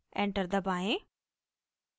enter दबाएं